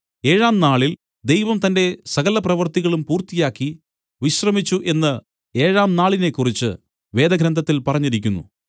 ഏഴാം നാളിൽ ദൈവം തന്റെ സകലപ്രവൃത്തികളും പൂർത്തിയാക്കി വിശ്രമിച്ചു എന്നു ഏഴാം നാളിനെക്കുറിച്ച് വേദഗ്രന്ഥത്തിൽ പറഞ്ഞിരിക്കുന്നു